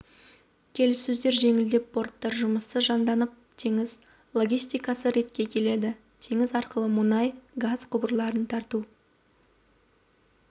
келіссөздер жеңілдеп порттар жұмысы жанданып теңіз логистикасы ретке келеді теңіз арқылы мұнай газ құбырларын тарту